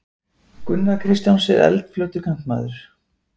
Gunnar Kristjáns er eldfljótur kantmaður.